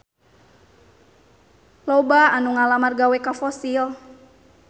Loba anu ngalamar gawe ka Fossil